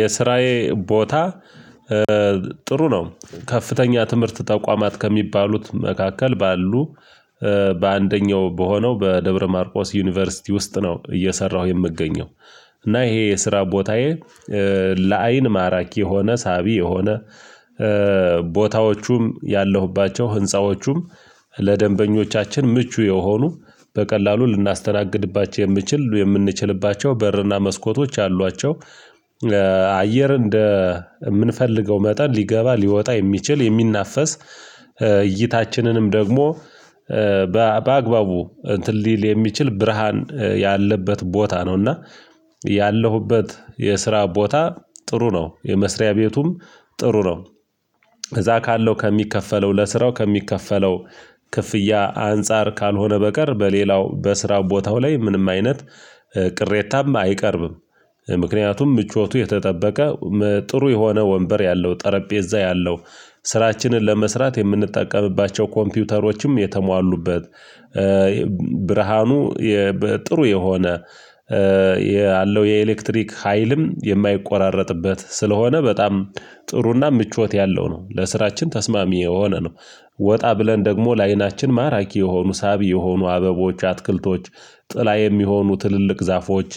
የስራዬ ቦታ ጥሩ ነው። ከፍተኛ ትምህርት ተቋማት ከሚባሉት መካከል ባሉ በአንደኛው በሆነው በደብረማርቆስ ዩኒቨርሲቲ ውስጥ ነው እየሰራሁ የምገኘው። እና ይሄ የስራ ቦታዬ ለአይን ማራኪ የሆነ ሳቢ የሆነ ቦታዎቹም ያለሁባቸው ህንፃዎቹም ለደንበኞቻችን ምቹ የሆኑ በቀላሉ ልናስተናግድባቸው የምንችል የምንችልባቸው በርና መስኮቶች አሏቸው። አየር እንደ የምንፈልገው መጠን ሊገባ ሊወጣ የሚችል የሚናፈስ እይታችንንም ደግሞ በአግባቡ እንትን ሊል የሚችል ብርሃን ያለበት ቦታ ነው። እና ያለሁበት የስራ ቦታ ጥሩ ነው። የመስሪያ ቤቱም ጥሩ ነው። እዛ ካለው ከሚከፈለው ለስራው ከሚከፈለው ክፍያ አንፃር ካልሆነ በቀር በሌላው በስራው ቦታው ላይ ምንም አይነት ቅሬታማ አይቀርብም። ምክንያቱም ምቾቱ የተጠበቀ ጥሩ የሆነ ወንበር ያለው ጠረጴዛ ያለው ስራችንን ለመስራት የምንጠቀምባቸው ኮምፒውተሮችም የተሟሉበት። ብርሃኑ ጥሩ የሆነ ያለው የኤሌክትሪክ ሀይልም የማይቆራረጥበት ስለሆነ በጣም ጥሩና ምቾት ያለው ነው። ለስራችን ተስማሚ የሆነ ነው። ወጣ ብለን ደግሞ ለአይናችን ማራኪ የሆኑ ሳቢ የሆኑ አበቦች አትክልቶች ጥላ የሚሆኑ ትልልቅ ዛፎች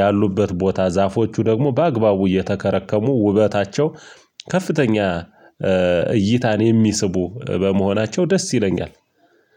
ያሉበት ቦታ ዛፎቹ ደግሞ በአግባቡ እየተከረከሙ ውበታቸው ከፍተኛ እይታን የሚስቡ በመሆናቸው ደስ ይለኛል።